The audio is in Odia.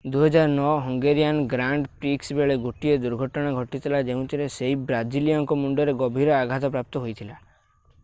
2009 ହଙ୍ଗେରିଅନ୍ ଗ୍ରାଣ୍ଡ ପ୍ରିକ୍ସ ବେଳେ ଗୋଟିଏ ଦୁର୍ଘଟଣା ଘଟିଥିଲା ଯେଉଁଥିରେ ସେହି ବ୍ରାଜିଲୀୟଙ୍କ ମୁଣ୍ଡରେ ଗଭୀର ଆଘାତ ପ୍ରାପ୍ତ ହୋଇଥିଲା